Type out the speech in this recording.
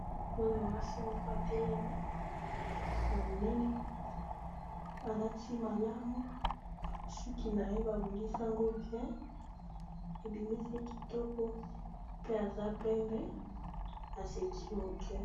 mwana mwasi moko atelemi ya monene alati malamu suki na ye babongisi yango bien ebimisi kitoko pe aza pembe aseki moke